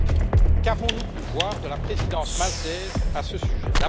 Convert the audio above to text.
Or, qu'avons nous pu voir de la présidence maltaise à ce sujet?